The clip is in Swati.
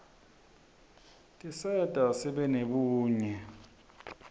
tiserta sibe nebunye